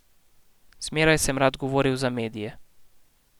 Zmeraj sem rad govoril za medije.